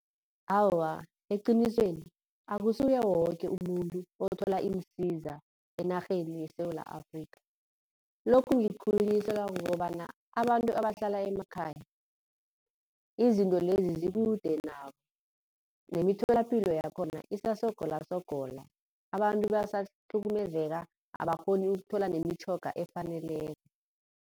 Awa, eqinisweni akusuye woke umuntu othola iinsiza enarheni yeSewula Afrikha. Lokhu ngikhulunyiswa kukobana abantu abahlala emakhaya, izinto lezi zikude nabo nemitholapilo yakhona isasogolasogola. Abantu basahlukumezeka abakghoni ukuthola nemitjhoga efaneleko.